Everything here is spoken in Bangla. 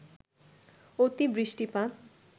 অতি বৃষ্টিপাত